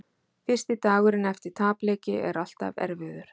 Fyrsti dagurinn eftir tapleiki er alltaf erfiður.